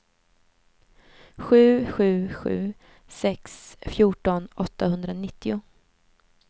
sju sju sju sex fjorton åttahundranittio